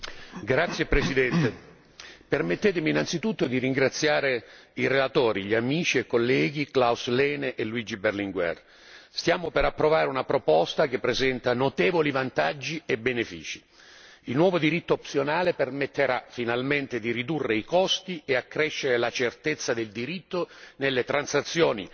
Signor Presidente, onorevoli colleghi, permettetemi innanzitutto di ringraziare i relatori, gli amici e colleghi Klaus Heiner Lehne e Luigi Berlinguer. Stiamo per approvare una proposta che presenta notevoli vantaggi e benefici. Il nuovo diritto opzionale permetterà finalmente di ridurre i costi e di accrescere la certezza del diritto nelle transazioni